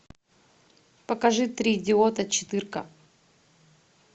покажи три идиота четырка